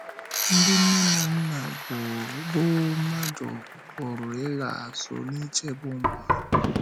Ndị nne na nna bụ́ mmadụ pụrụ ịla azụ n’ichebe ụmụ ha.